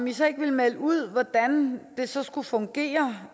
i så ikke melde ud hvordan det så skulle fungere